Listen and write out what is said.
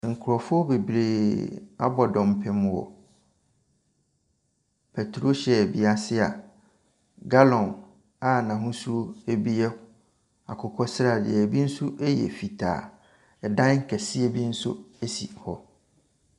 Nkrɔfoɔ bebree abɔ dɔmpem wɔ pɛtrol hyɛɛl bi ase. Gallon bi a n'ahosu yɛ akokɔ sradeɛ. Ebi yɛ fitaa. Ɛdan kɛseɛ bi nso si hɔ.